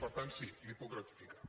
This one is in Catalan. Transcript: per tant sí l’hi puc ratificar